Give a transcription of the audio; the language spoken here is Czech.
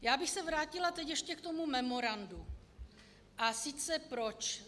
Já bych se vrátila teď ještě k tomu memorandu - a sice proč?